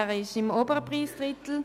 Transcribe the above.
Er liegt im oberen Preisdrittel.